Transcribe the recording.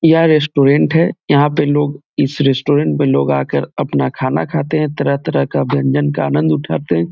यह रेस्टोरेंट है यहाँ पे लोग इस रेस्टोरेंट में लोग आकर अपना खाना खाते हैं तरह-तरह का व्यंजन का आनंद उठाते हैं।